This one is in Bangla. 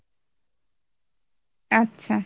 আচ্ছা